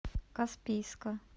каспийска